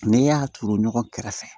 N'i y'a turu ɲɔgɔn kɛrɛfɛ